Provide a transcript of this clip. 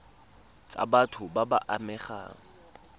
tsa batho ba ba amegang